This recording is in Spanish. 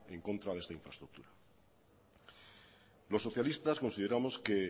en contra de esta infraestructura los socialistas consideramos que